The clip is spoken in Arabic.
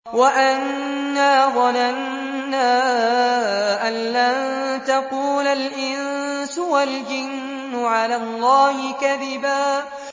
وَأَنَّا ظَنَنَّا أَن لَّن تَقُولَ الْإِنسُ وَالْجِنُّ عَلَى اللَّهِ كَذِبًا